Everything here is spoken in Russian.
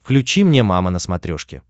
включи мне мама на смотрешке